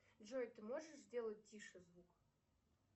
джой ты можешь сделать тише звук